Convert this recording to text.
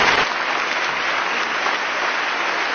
Monsieur le Président du Parlement européen,